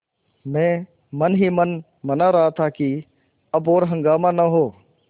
मैं मन ही मन मना रहा था कि अब और हंगामा न हो